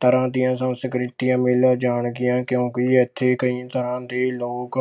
ਤਰ੍ਹਾਂ ਦੀਆਂ ਸੰਸਕ੍ਰਿਤੀਆਂ ਮਿਲ ਜਾਣਗੀਆਂ ਕਿਉਂਕਿ ਇੱਥੇ ਕਈ ਤਰ੍ਹਾਂ ਦੇ ਲੋਕ